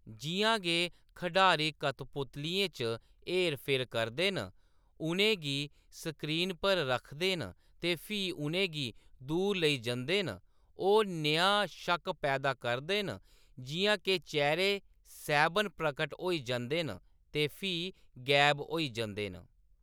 जिʼयां गै खढारी कठपुतलियें च हेर-फेर करदे न, उʼनें गी स्क्रीन पर रखदे न ते फ्ही उʼनें गी दूर लेई जंदे न, ओह्‌‌ नेहा शक्क पैदा करदे न जिʼयां के चेह्‌रे सैह्‌‌‌बन प्रकट होई जंदे न ते फ्ही गैब होई जंदे न।